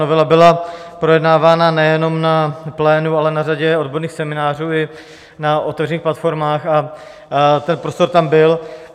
Novela byla projednávána nejenom na plénu, ale na řadě odborných seminářů i na otevřených platformách a ten prostor tam byl.